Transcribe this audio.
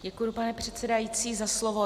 Děkuji, pane předsedající, za slovo.